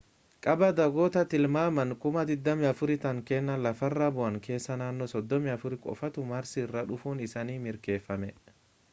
cabaa dhagoota tilmaamaan 24,000 ta'an kanneen lafarra bu'an keessaa naannoo 34 qofaatu maarsi irraa dhufuun isaanii mirkaneffame